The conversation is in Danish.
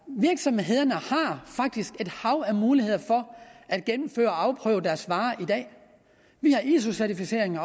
virksomhederne har faktisk et hav af muligheder for at gennemføre og afprøve deres varer i dag vi har iso certificering